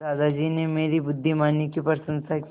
दादाजी ने मेरी बुद्धिमानी की प्रशंसा की